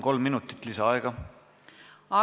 Kolm minutit lisaaega!